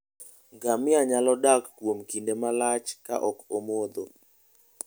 Ngamia nyalo dak kuom kinde malach ka ok omodho.